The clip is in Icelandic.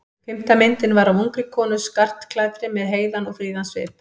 Fimmta myndin var af ungri konu skartklæddri með heiðan og fríðan svip.